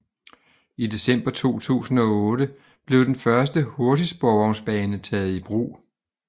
I december 2008 blev den første hurtigsporvognsbane taget i brug